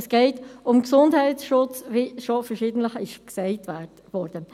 Es geht um Gesundheitsschutz, wie schon verschiedentlich gesagt wurde.